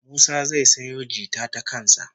Musa zai sayo jita ta kan sa